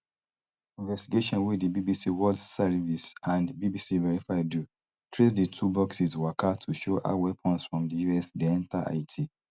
investigation wey di bbc world serivice and bbc verify do trace di two boxes waka to show how weapons from di us dey enta haiti